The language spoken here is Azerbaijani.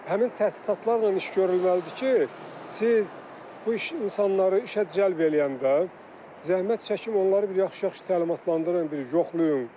Həmin təsisatlarla iş görülməlidir ki, siz bu iş insanları işə cəlb eləyəndə zəhmət çəkim onları bir yaxşı-yaxşı təlimatlandırın, bir yoxlayın.